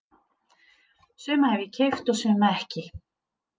Suma hef ég keypt og suma ekki.